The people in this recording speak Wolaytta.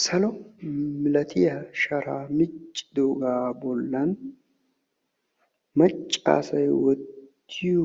Salo milatiya sharaa miccidoogaa bollan macca asay wottiyo